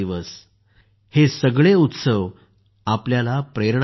हे सगळे उत्सव आपल्याला प्रेरणा देतात